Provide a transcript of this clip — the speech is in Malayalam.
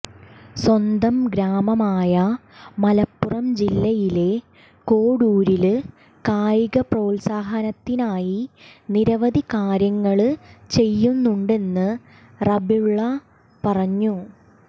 സ്വന്തം ഗ്രാമമായ മലപ്പുറം ജില്ലയിലെ കോഡൂരില് കായിക പ്രോത്സാഹനത്തിനായി നിരവധികാര്യങ്ങള് ചെയ്യുന്നുണ്ടെന്ന് റബീഉള്ള പറഞ്ഞു